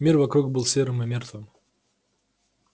мир вокруг был серым и мёртвым